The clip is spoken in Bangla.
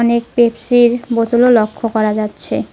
অনেক পেপসির বোতলও লক্ষ্য করা যাচ্ছে।